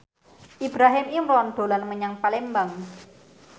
Ibrahim Imran dolan menyang Palembang